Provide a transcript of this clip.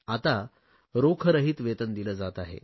आता रोखरहित वेतन दिले जात आहे